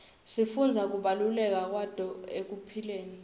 sifundza kubaluleka kwato ekuphileni